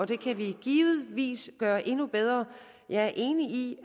det kan vi givetvis gøre endnu bedre jeg er enig i